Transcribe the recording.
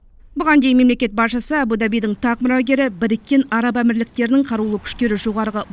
бұған дейін мемлекет басшысы абу дабидің тақ мұрагері біріккен араб әмірліктерінің қарулы күштері жоғарғы